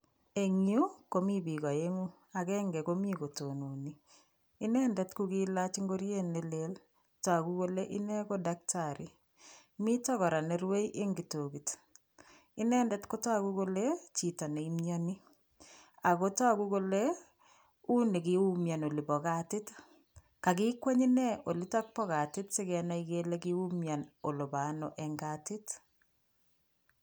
Eng yu komi biik aeng'u. akenke komi kotononi, inendet kokelach nkoriet nelel, toku kole ine ko daktari. Mito kora nerue eng itokit. Inendet kotoku kole chito neimioni ako toku kole uni kiumian olipo katit. Kakikweny ine olitok po katit sikenai kele kiumian olepo ano eng katit.